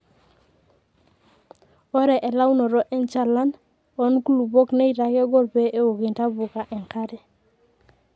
ore elaunoto enchalan oo nkulupuok neitaa kegol pee eouk intapuka enkare